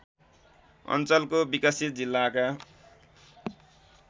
अञ्चलको विकसित जिल्लाका